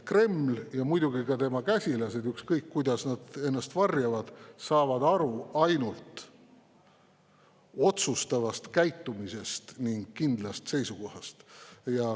Kreml ja muidugi ka tema käsilased, ükskõik kuidas nad ennast varjavad, saavad aru ainult otsustavast käitumisest ning kindlast seisukohast.